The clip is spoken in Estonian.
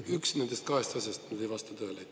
Üks nendest kahest asjast ei vasta tõele.